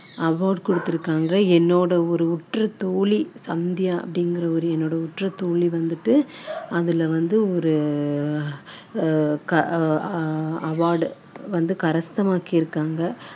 entrepreneur அதாவது பெண்கள் தொழில் முனைவோர்க்கு வந்துட்டு award கொடுத்துருக்காங்க என்னோட ஒரு உற்ற தோழி சந்தியா அப்படிங்குற ஒரு என்னோட உற்ற தோழி வந்துட்டு அதுல வந்து ஒரு